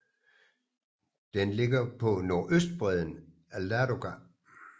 Den ligger på nordøstbredden af Ladoga